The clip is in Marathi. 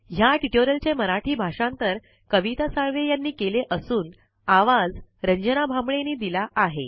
ह्या ट्यूटोरियल चे मराठी भाषांतर कविता साळवे आणि आवाज रंजना भांबळे यांनी दिलेला आहे